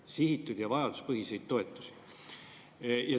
See on sihitud ja vajaduspõhine toetus!